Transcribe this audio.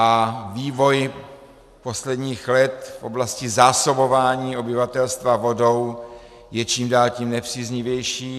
A vývoj posledních let v oblasti zásobování obyvatelstva vodou je čím dál tím nepříznivější.